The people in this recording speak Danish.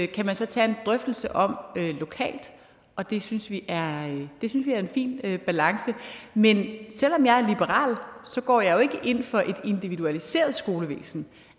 kan man så tage en drøftelse om lokalt og det synes vi er er en fin balance men selv om jeg er liberal går jeg jo ikke ind for et individualiseret skolevæsen